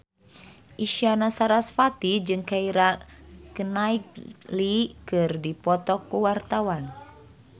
Isyana Sarasvati jeung Keira Knightley keur dipoto ku wartawan